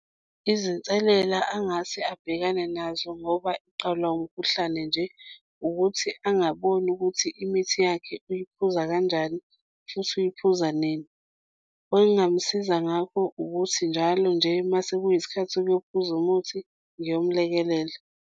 Izinselela angase abhekane nazo ngoba eqalwa umkhuhlane nje ukuthi angaboni ukuthi imithi yakhe uyiphuza kanjani futhi uyiphuza nini. Okungamsiza ngakho ukuthi, njalo nje uma sekuyisikhathi sokuphuza umuthi ngiyomlekelela.